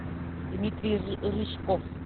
дмитрий рыжков